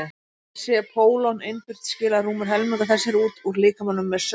sé pólon innbyrt skilar rúmur helmingur þess sér út úr líkamanum með saur